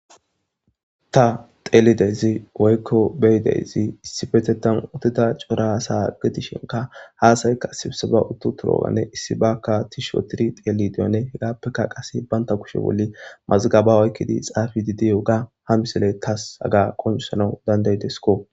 ta xeelidezi woykko beyideyzi issi isipetetan utida cora sa gidishenka haasaykka sibisaba uttu turoganne issi bakka tisho tiri teelidiyonne hegappeka qase baynta kushe wolli mazgaba oykkidi xaafi didi woga ha misile tas haga qoncusanau dandaydesko